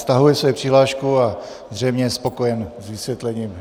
Stahuje svou přihlášku a zřejmě je spokojen s vysvětlením.